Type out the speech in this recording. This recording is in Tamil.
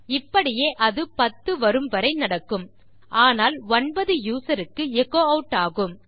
இப்படியே அது 10 வரும் வரை நடக்கும் ஆனால் 9 யூசர் க்கு எச்சோ ஆட் ஆகும்